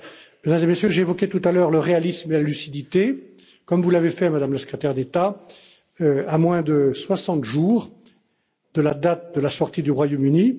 Mesdames et Messieurs, j'évoquais tout à l'heure le réalisme et la lucidité, comme vous l'avez fait, Madame la Secrétaire d'État, à moins de 60 jours de la date de la sortie du Royaume